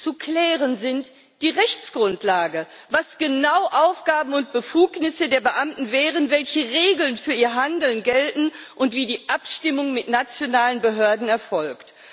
Zu klären ist die Rechtsgrundlage was genau Aufgaben und Befugnisse der Beamten wären, welchen Regeln für ihr Handeln gelten und wie die Abstimmung mit nationalen Behörden erfolgt.